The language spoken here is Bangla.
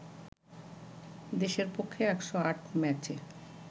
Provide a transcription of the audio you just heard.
দেশের পক্ষে ১০৮ ম্যাচে